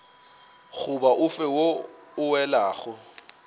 goba ofe wo o welago